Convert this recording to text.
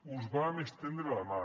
us vam estendre la mà